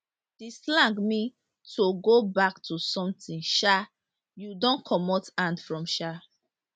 di slang mean to go back to something um you don comot hand from um